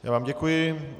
Já vám děkuji.